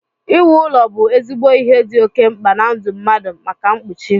Iwu ụlọ bụ ezigbo ihe dị oké mkpa na ndụ mmadụ maka mkpuchi